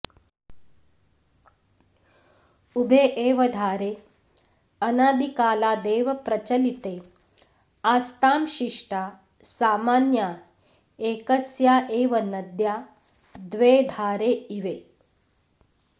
उभे एव धारे अनादिकालादेव प्रचलिते आस्तां शिष्टा सामान्या एकस्या एव नद्या द्वे धारे इवे